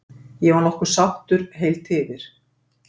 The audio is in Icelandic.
Ég var nokkuð sáttur, heilt yfir.